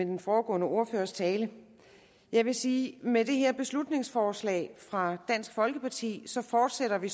den foregående ordførers tale jeg vil sige at med det her beslutningsforslag fra dansk folkeparti fortsætter vi